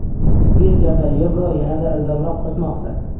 Birjada yevro yanada ildamroq o‘smoqda.